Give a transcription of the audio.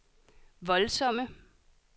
voldsomme